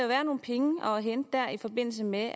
være nogle penge at hente der i forbindelse med